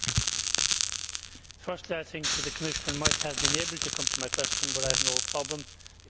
Firstly, I think that the Commissioner might have been able to come to my question, but I have no problem because it is related to this.